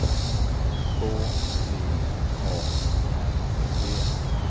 K V A R T